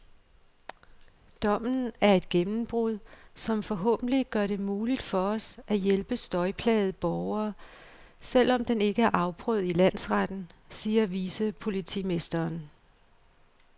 Dommen er et gennembrud, som forhåbentlig gør det muligt for os at hjælpe støjplagede borgere, selv om den ikke er afprøvet i landsretten, siger vicepolitimesteren.